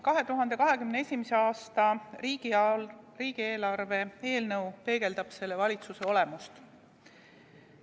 2021. aasta riigieelarve eelnõu peegeldab selle valitsuse olemust.